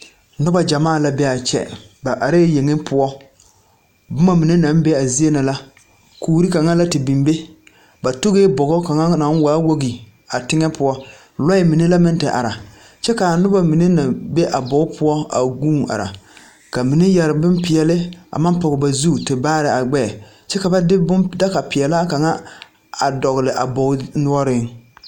Noba gyamaa la be a kyɛ ba arɛɛ yeŋe poɔ boma mine naŋ be a zie na la kuuri kaŋa la te biŋ be ba tuge bogi kaŋa naŋ waa wogi a teŋe poɔ lɔɛ mine meŋ la te are kyɛ ka a noba mine naŋ be a bog poɔ a guun are ka mine yɛre bonpeɛle a maŋ poge ba zu te baare a gbɛɛ kyɛ ka ba de bon daga peɛlaa kaŋa a dɔgle a bogi noɔreŋ.